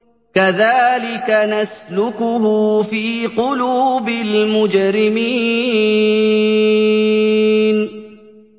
كَذَٰلِكَ نَسْلُكُهُ فِي قُلُوبِ الْمُجْرِمِينَ